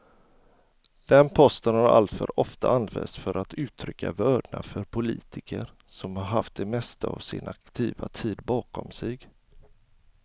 Den posten har alltför ofta använts för att uttrycka vördnad för politiker som haft det mesta av sin aktiva tid bakom sig.